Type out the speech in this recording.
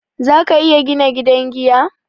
Za ka iya bina gidan giya?